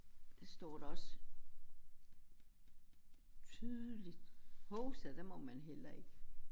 Står der også tydeligt hovsa det må man heller ikke